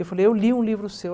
Eu falei, eu li um livro seu.